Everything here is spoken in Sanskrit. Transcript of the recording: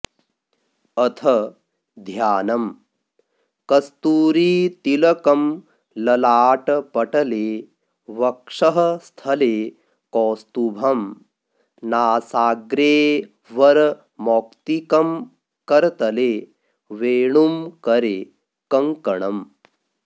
अथ ध्यानम् कस्तूरीतिलकं ललाटपटले वक्षःस्थले कौस्तुभं नासाग्रेवरमौक्तिकं करतले वेणुं करे कङ्कणम्